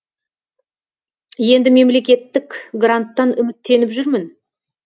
енді мемлекеттік гранттан үміттеніп жүрмін